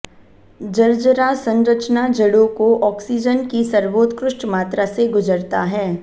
झरझरा संरचना जड़ों को ऑक्सीजन की सर्वोत्कृष्ट मात्रा से गुजरता है